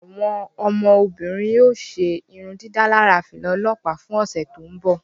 Awọn ọmọbirin o ṣe irundidalara fila ọlọpa fún ọsẹ to nbọ